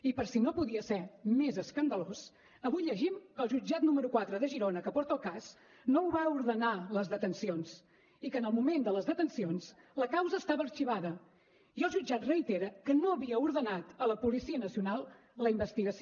i per si no podia ser més escandalós avui llegim que el jutjat número quatre de girona que porta el cas no va ordenar les detencions i que en el moment de les detencions la causa estava arxivada i el jutjat reitera que no havia ordenat a la policia nacional la investigació